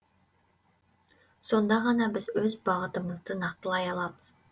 сонда ғана біз өз бағытымызды нақтылай аламыз